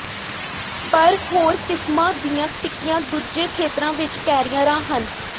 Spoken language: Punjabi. ਪਰ ਹੋਰ ਕਿਸਮਾਂ ਦੀਆਂ ਟਿੱਕੀਆਂ ਦੂਜੇ ਖੇਤਰਾਂ ਵਿਚ ਕੈਰੀਅਰਾਂ ਹਨ